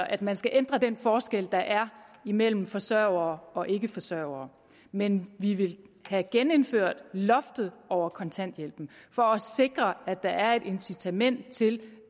at man skal ændre den forskel der er imellem forsørgere og ikkeforsørgere men vi vil have genindført loftet over kontanthjælpen for at sikre at der er et incitament til